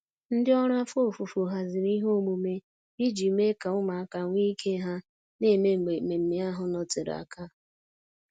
Ndị ọrụ afọ ofufo haziri ihe omume iji mee ka ụmụaka nwe ike ha na-eme mgbe mmemmé ahụ nọtere aka.